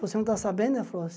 Você não está sabendo, ela falou